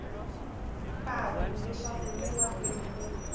patu leswaku le mahlweni ku